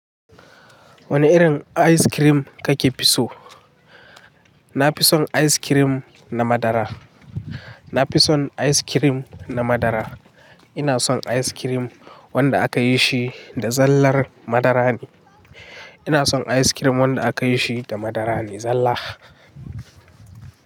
Wane irin ice cream kake fi so? Na fi son ice cream na madara. Na fi son ice cream na madara. Ina son ice cream wanda aka yi shi da zallar madara ne. Ina son ice cream wanda aka yi shi da madara ne zalla.